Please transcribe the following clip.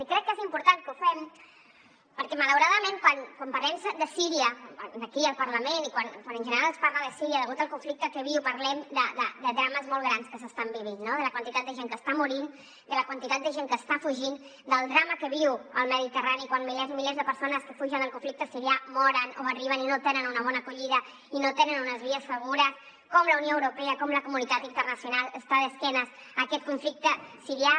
i crec que és important que ho fem perquè malauradament quan parlem de síria aquí al parlament i quan en general es parla de síria degut al conflicte que viu parlem de drames molt grans que s’estan vivint no de la quantitat de gent que està morint de la quantitat de gent que està fugint del drama que viu el mediterrani quan milers i milers de persones que fugen del conflicte sirià moren o arriben i no tenen una bona acollida i no tenen unes vies segures com la unió europea com la comunitat internacional està d’esquena a aquest conflicte sirià